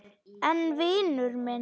En vinur minn.